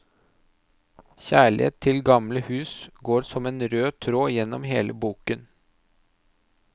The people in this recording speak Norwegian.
Kjærlighet til gamle hus går som en rød tråd gjennom hele boken.